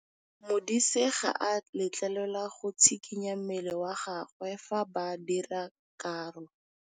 Modise ga a letlelelwa go tshikinya mmele wa gagwe fa ba dira karô.